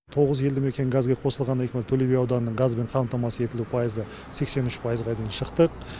тоғыз елді мекен газге қосылғаннан кейін төлеби ауданының газбен қамтамасыз етілуі пайызы сексен үш пайызға дейін шықтық